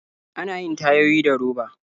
Ana yin tayoyi da roba.